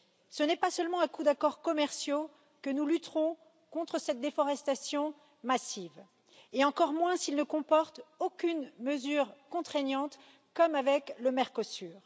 Ce n'est pas seulement à coup d'accords commerciaux que nous lutterons contre cette déforestation massive et encore moins s'ils ne comportent aucune mesure contraignante, comme avec le Mercosur.